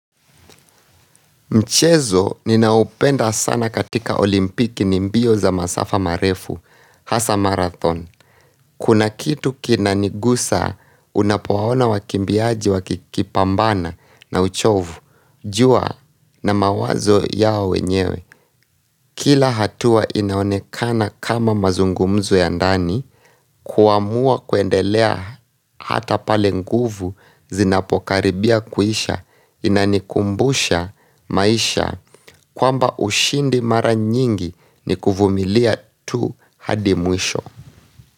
Mchezo, ninaoupenda sana katika olimpiki ni mbio za masafa marefu, hasa marathon. Kuna kitu kinanigusa, unapuwaona wakimbiaji wakikipambana na uchovu. Jua na mawazo yao wenyewe. Kila hatua inaonekana kama mazungumzo ya ndani, kuamua kuendelea hata pale nguvu zinapokaribia kuisha inanikumbusha maisha kwamba ushindi mara nyingi ni kuvumilia tu hadimwisho.